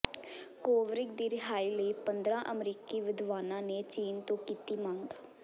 Kovrig ਦੀ ਰਿਹਾਈ ਲਈ ਪੰਦਰਾਂ ਅਮਰੀਕੀ ਵਿਦਵਾਨਾਂ ਨੇ ਚੀਨ ਤੋਂ ਕੀਤੀ ਮੰਗ